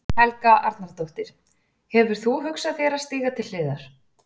Helga Arnardóttir: Hefur þú hugsað þér að stíga til hliðar?